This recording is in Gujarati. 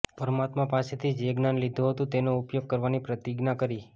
પરમાત્મા પાસેથી જે જ્ઞાન લીધું હતું તેનો ઉપયોગ કરવાની પ્રતિજ્ઞા કરી